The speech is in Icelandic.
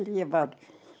ég var